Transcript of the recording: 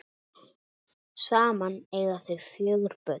Saman eiga þau fjögur börn.